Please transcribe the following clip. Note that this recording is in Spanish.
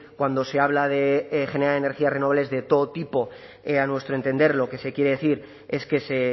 cuando se habla de generar energías renovables de todo tipo a nuestro entender lo que se quiere decir es que se